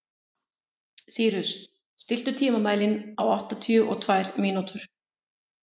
Sýrus, stilltu tímamælinn á áttatíu og tvær mínútur.